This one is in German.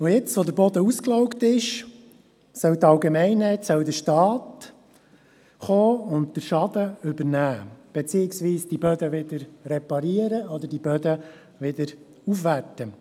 Jetzt, wo der Boden ausgelaugt ist, soll die Allgemeinheit, der Staat, kommen und den Schaden übernehmen beziehungsweise diese Böden wieder reparieren oder aufwerten.